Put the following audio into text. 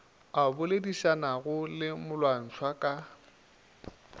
a boledišanago le molwantšhwa ka